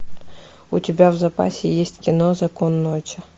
у тебя в запасе есть кино закон ночи